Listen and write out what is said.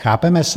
Chápeme se?